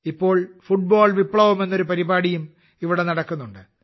ഇപ്പോൾ ഫുട്ബോൾ വിപ്ലവം എന്നൊരു പരിപാടിയും ഇവിടെ നടക്കുന്നുണ്ട്